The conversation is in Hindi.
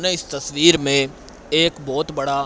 इस तस्वीर में एक बहोत बड़ा--